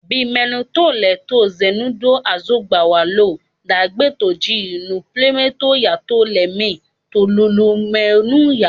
Be mẹplọntọ lọ lẹ zinnudo azọngban walọ dagbe tọn ji to nuplọnmẹ yetọn lẹ mẹ to hohowhenu ya?